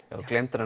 þú gleymdir að